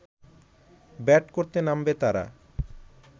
bat করতে নামবে তারা